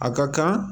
A ka kan